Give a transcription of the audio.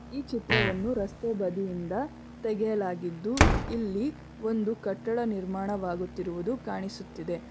ಈ ಚಿತ್ರವನ್ನು ರಸ್ತೆ ಬದಿಯಿಂದ ತಗೆಯಲಾಗಿದ್ದು ಇಲ್ಲಿ ಒಂದು ಕಟ್ಟಡ ನಿರ್ಮಾಣವಾಗುತ್ತಿರುವುದು ಕಾಣಿಸುತ್ತಿದೆ.